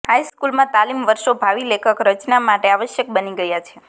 high સ્કૂલમાં તાલીમ વર્ષો ભાવિ લેખક રચના માટે આવશ્યક બની ગયા છે